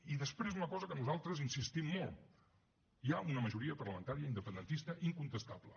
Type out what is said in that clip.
i després una cosa en què nosaltres insistim molt hi ha una majoria parlamentària independentista incontestable